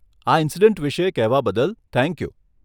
આ ઇનસિડેન્ટ વિષે કહેવા બદલ થેન્ક યું.